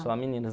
Só meninas.